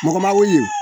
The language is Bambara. Mɔgɔ ma weele